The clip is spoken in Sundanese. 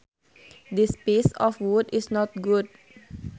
This piece of wood is not good